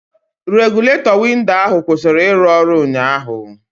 Regụletọ windo ahụ kwụsịrị ịrụ ọrụ ụnyaahụ